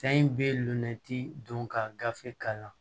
Fɛn in bɛ lenti don ka gafe k'a la